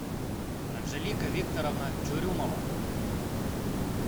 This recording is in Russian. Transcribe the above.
анжелика викторовна чурюмова